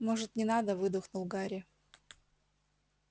может не надо выдохнул гарри